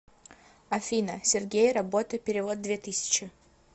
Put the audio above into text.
афина сергей работа перевод две тысячи